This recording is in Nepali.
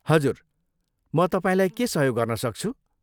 हजुर। म तपाईँलाई के सहयोग गर्न सक्छु?